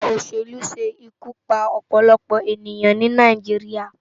Òrò óṣélú ṣé ikú pá òpòlòpò eniyán ni Náijiriá